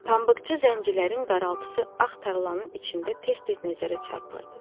Pambıqçı zəncirlərin qıraltısı ax taralanın içində tez-tez nəzərə çarpırdı.